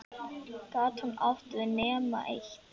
Gat hún átt við nema eitt?